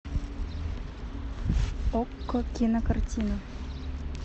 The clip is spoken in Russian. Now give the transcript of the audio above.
окко кинокартина